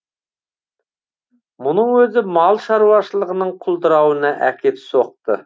мұның өзі мал шаруашылығының құлдырауына әкеп соқты